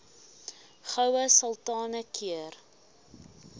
goue sultana keur